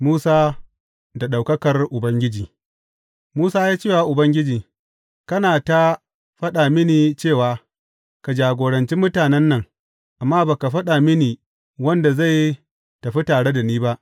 Musa da ɗaukakar Ubangiji Musa ya ce wa Ubangiji, Kana ta faɗa mini cewa, Ka jagoranci mutane nan,’ amma ba ka faɗa mini wanda zai tafi tare da ni ba.